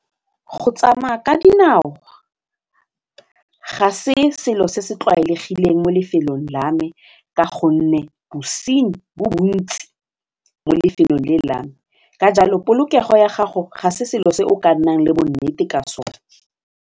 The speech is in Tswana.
Go tsamaya ka dinao ga se selo se se tlwaelegileng mo lefelong la me ka gonne bosenyi bo bontsi mo lefelong le la me ka jalo polokego ya gago ga se selo se o ka nnang le bonnete ka sona.